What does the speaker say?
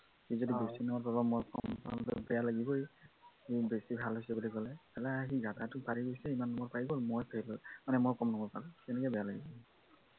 সি যদি বেছি number পায় বা মই কম number পাও, বেয়াতো লাগিবই, মোৰ বেছি ভাল হৈছে বুলি কলে, বা সি গাধাটো পাৰি গৈছে, ইমান number পাই গল মই fail হলো, মানে মই কম number পালো, কেনেকুৱা বেয়া লাগিব